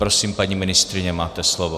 Prosím, paní ministryně, máte slovo.